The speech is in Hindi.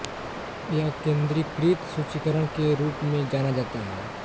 यह केंद्रीकृत सूचीकरण के रूप में जाना जाता है